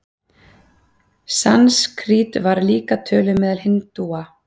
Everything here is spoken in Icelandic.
Sanskrít var líka töluð meðal hindúa.